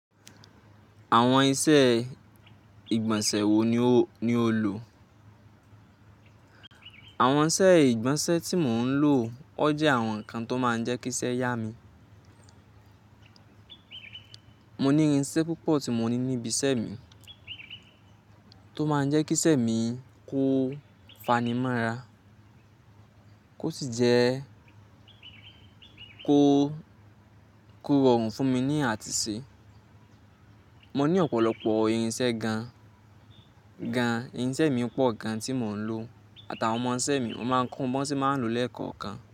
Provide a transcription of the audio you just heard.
Àwọn iṣẹ́ ìgbọ̀nsẹ̀ wo ni o lò? Àwọn iṣẹ́ ìgbọ̀nsẹ̀ tí mò ń lò oje àwọn nǹkan tó máa ń jẹ́ kí iṣẹ́ yá mi. Mo ní irinṣẹ́ púpọ̀ tí mo ní níbi iṣẹ́ mi tó máa ń jẹ́ kí iṣẹ́ mi kó fani mọ́ra, kó sì jẹ́ kó rọrùn fún mi ní àtìṣe. Mo ní ọ̀pọ̀lọpọ̀ irinṣẹ́ gan-an. Irinṣẹ́ mi pọ̀ gan-an tí mò ń lò àtàwọn ọmọ iṣẹ́ mi. Mo máa ń kọ wọn bí wọ́n ṣe máa ń lò lẹ́ẹ̀kọ̀kan.